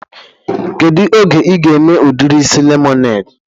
Kedu oge ị ga-eme udiri isi lemonede?